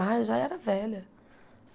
Ah, já era velha.